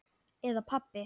Eða pabbi.